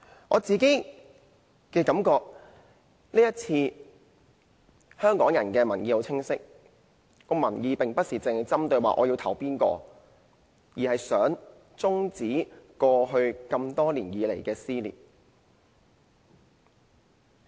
我個人的感覺是，在這次選舉中，香港人的民意十分清晰，民意不是指要投票給哪個候選人，而是想終止過去多年來的撕裂。